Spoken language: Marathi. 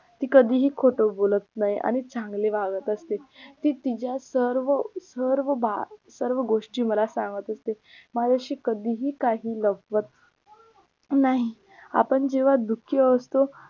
ती कधीही खोटं बोलत नाही आणि चांगली वागत असते ती तिझ्याच सर्व सर्व सर्व गोष्टी मला सांगत असते माझ्याशी कधीही काही लपवत नाही आपण जेव्हा दुःखी असतो